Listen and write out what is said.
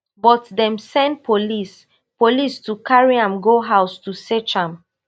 but dem send police police to carry am go house to search am